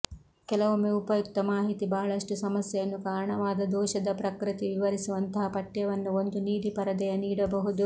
ಕೆಲವೊಮ್ಮೆ ಉಪಯುಕ್ತ ಮಾಹಿತಿ ಬಹಳಷ್ಟು ಸಮಸ್ಯೆಯನ್ನು ಕಾರಣವಾದ ದೋಷದ ಪ್ರಕೃತಿ ವಿವರಿಸುವಂತಹ ಪಠ್ಯವನ್ನು ಒಂದು ನೀಲಿ ಪರದೆಯ ನೀಡಬಹುದು